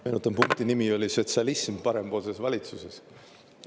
Meenutan, punkti nimi oli "Sotsialism parempoolses valitsuses".